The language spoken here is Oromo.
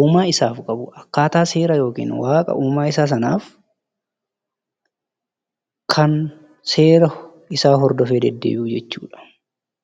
uumaa isaaf qabu akkaataa seera yookin waaqa uumaa isaa sanaaf kan seera isaa hordofee deddeebi'u jechuudha.